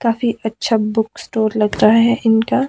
काफी अच्छा book store लग रहा है इनका।